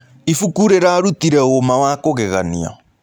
Ĩbũkũ rĩrarũtĩre ũma wa kũgeganĩa